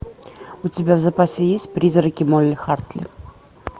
у тебя в запасе есть призраки молли хартли